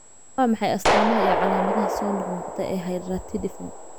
Waa maxay astamaha iyo calaamadaha soo noqnoqda ee hydratidiform?